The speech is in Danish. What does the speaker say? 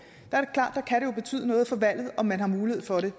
kan det jo betyde noget for valget om man har mulighed for det